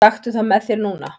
Taktu það með þér núna!